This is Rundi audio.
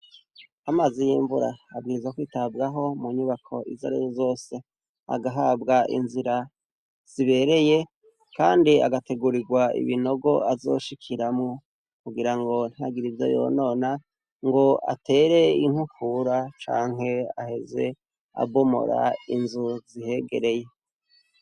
Amazi y'imvura, abwirizwa kwitabwahoki nyubako izarizo zose. Agahabwe inzira zibereye, Kandi agategurirwa ibinogo azashikiramwo, kugirango ntihagire ivyo yonona ngo atere inkukura, canke aheze abomora inzu zihegereye.